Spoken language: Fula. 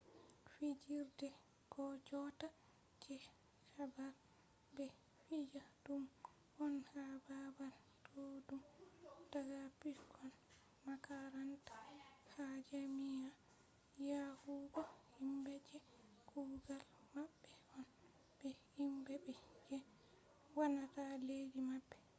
fijirde jotta je habre be fija dum on ha babal duddum daga pikkon makaranta ha jami’a yahugo himbe je kugal mabbe on be himbe je wannata leddi mabbe